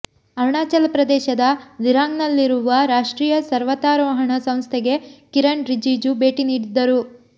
ಅರುಣಾಚಲ ಪ್ರದೇಶದ ದಿರಾಂಗ್ನಲ್ಲಿರುವ ರಾಷ್ಟ್ರೀಯ ಪರ್ವತಾರೋಹಣ ಸಂಸ್ಥೆಗೆ ಕಿರಣ್ ರಿಜಿಜು ಭೇಟಿ ನೀಡಿದ್ದರು